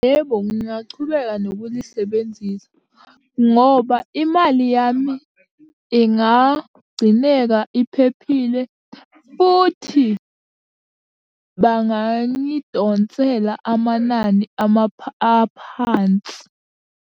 Yebo, ngingachubeka nokulisebenzisa, ngoba imali yami ingagcineka iphephile, futhi bangangidonsela amanani aphansi.